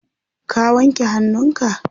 ka wanke hannunka?